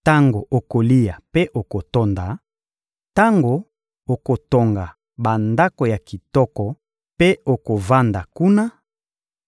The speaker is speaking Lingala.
Tango okolia mpe okotonda, tango okotonga bandako ya kitoko mpe okovanda kuna,